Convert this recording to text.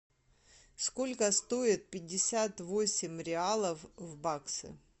сколько стоит пятьдесят восемь реалов в баксы